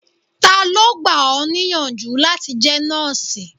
Ta ló gbà ọ níyànjú láti jẹ́ nọ́ọ̀sì?